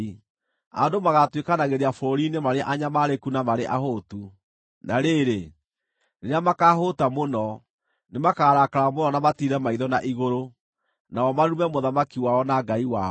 Andũ magaatuĩkanagĩria bũrũri-inĩ marĩ anyamaarĩku na marĩ ahũtu; na rĩrĩ, rĩrĩa makahũũta mũno, nĩmakarakara mũno na matiire maitho na igũrũ, nao marume mũthamaki wao na Ngai wao.